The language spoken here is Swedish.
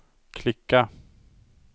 klicka